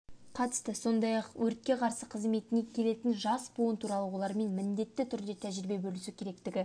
қатысты сондай-ақ өртке қарсы қызметіне келетін жас буын туралы олармен міндетті түрде тәжірибе бөлісу керектігі